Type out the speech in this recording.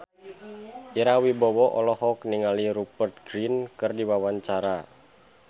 Ira Wibowo olohok ningali Rupert Grin keur diwawancara